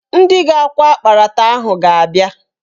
Ndị ga-akwọ akparata ahụ ga-abịa